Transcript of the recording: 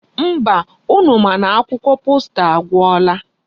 Mba, unu ma n'akwụkwọ posta agwula.